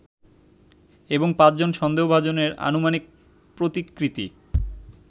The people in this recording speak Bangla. এবং পাঁচজন সন্দেহভাজনের আনুমানিক প্রতিকৃতি